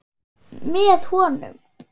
Með honum.